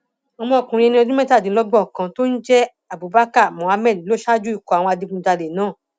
ọmọkùnrin ẹni ọdún mẹtàdínlọgbọn kan tó ń jẹ abubakar muhammed ló ṣáájú ikọ àwọn adigunjalè náà